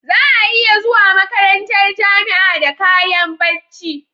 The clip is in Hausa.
Za'a iya zuwa makarantar jamia da kayan bacci